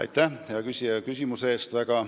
Aitäh, hea küsija, küsimuse eest!